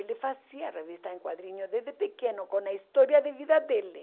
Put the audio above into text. Ele fazia revista em quadrinhos desde pequeno, com a história de vida dele.